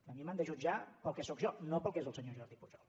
a mi m’han de jutjar pel que sóc jo no pel que és el senyor jordi pujol